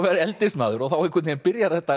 eldist maður og þá einhvern veginn byrjar þetta